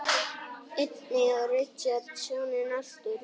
Einnig á Richard soninn Arthur.